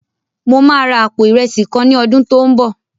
Mo máa ra àpò ìrẹsì kan ní ọdún tó n bọ̀